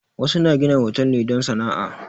Wasu na gina hotal ne don sana'a.